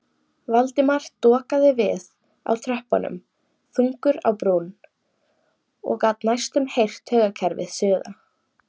Valdimar dokaði við á tröppunum þungur á brún og gat næstum heyrt taugakerfið suða.